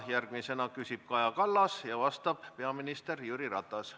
Järgmisena küsib Kaja Kallas ja vastab peaminister Jüri Ratas.